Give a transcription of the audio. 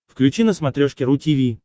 включи на смотрешке ру ти ви